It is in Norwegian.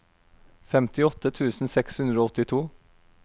femtiåtte tusen seks hundre og åttito